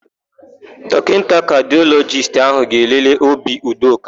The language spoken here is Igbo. Dọkịta kadịọlọjist áhụ̀ ga-elele obi Udoka.